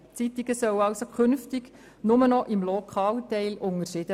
Diese beiden Zeitungen sollen sich also künftig nur noch im Lokalteil unterscheiden.